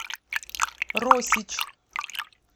росич